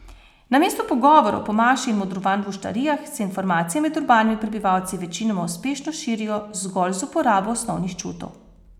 Namesto pogovorov po maši in modrovanj v oštarijah, se informacije med urbanimi prebivalci večinoma uspešno širijo zgolj z uporabo osnovnih čutov.